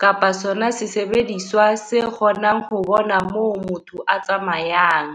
kapa sona sesebediswa se kgonang ho bona moo motho a tsamayang.